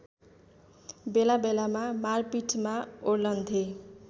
बेलाबेलामा मारपिटमा ओर्लन्थे